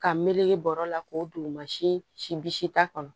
Ka meleke bɔrɔ la k'o don mansin bisita kɔnɔ